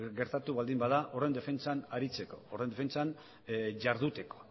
gertatu baldin bada horren defentsan aritzeko horren defentsan jarduteko